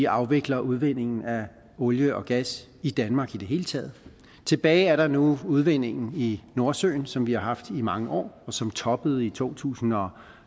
afvikle udvindingen af olie og gas i danmark i det hele taget tilbage er der nu udvindingen i nordsøen som vi har haft i mange år og som toppede omkring to tusind og